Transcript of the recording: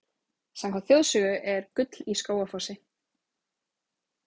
Samkvæmt þjóðsögu er gull í Skógafossi.